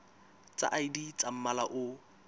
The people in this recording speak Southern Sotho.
tsa id tsa mmala o